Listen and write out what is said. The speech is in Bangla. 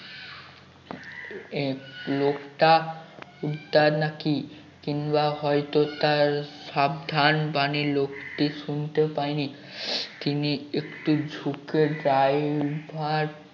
আহ লোকটা নাকি কিংবা হয়ত তার সাবধানবাণী লোকটি শুনতে পায় নি তিনি একটু ঝুঁকে driver